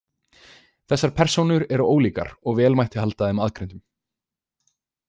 Þessar persónur eru ólíkar og vel mætti halda þeim aðgreindum.